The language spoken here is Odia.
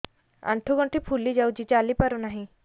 ଆଂଠୁ ଗଂଠି ଫୁଲି ଯାଉଛି ଚାଲି ପାରୁ ନାହିଁ